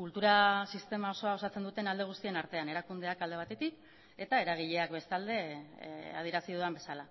kultura sistema osoa osatzen duten alde guztien artean erakundeak alde batetik eta eragileak bestalde adierazi dudan bezala